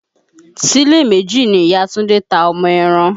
Ṣílè méjì ni ìya Túndé ta ọmọ ẹran